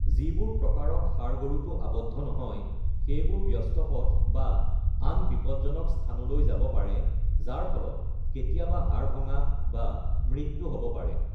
যিবোৰ প্ৰকাৰত ষাঁড় গৰুটো আৱদ্ধ নহয়, সেইবোৰ ব্যস্ত পথ বা আন বিপদজনক স্থানলৈ যাব পাৰে, যাৰ ফলত কেতিয়াবা হাড় ভঙা বা মৃত্যু হ'ব পাৰে।